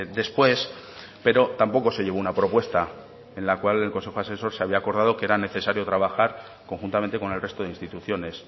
después pero tampoco se llevó una propuesta en la cual el consejo asesor se había acordado que era necesario trabajar conjuntamente con el resto de instituciones